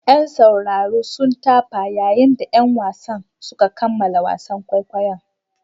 Yan sauraro sun tafa yayin da 'yan wasan suka kammala wasan kwaikwayon.